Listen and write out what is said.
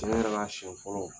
la a siyɛn fɔlɔ.